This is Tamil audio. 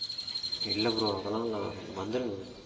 இல்ல bro அதெல்லாம் இல்ல வந்துருங்க